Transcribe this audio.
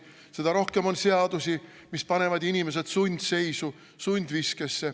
Seda rohkem on seadusi, mis panevad inimesed sundseisu, sundviskesse.